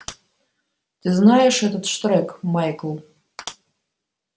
ты знаешь этот штрек майкл